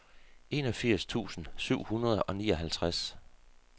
enogfirs tusind syv hundrede og nioghalvtreds